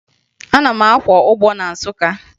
Ana m akwọ ụgbọ na Nsụka